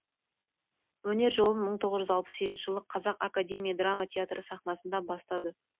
өнер жолын мың тоғыз жүз алпыс сегізінші жылы қазақ академия драма театры сахнасынан бастады